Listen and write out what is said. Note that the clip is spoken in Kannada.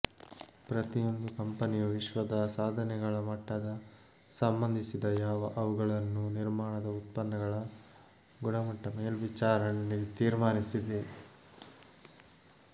ಪ್ರತಿಯೊಂದು ಕಂಪೆನಿಯು ವಿಶ್ವದ ಸಾಧನೆಗಳ ಮಟ್ಟದ ಸಂಬಂಧಿಸದ ಯಾವ ಅವುಗಳನ್ನು ನಿರ್ಮಾಣದ ಉತ್ಪನ್ನಗಳ ಗುಣಮಟ್ಟ ಮೇಲ್ವಿಚಾರಣೆ ತೀರ್ಮಾನಿಸಿದೆ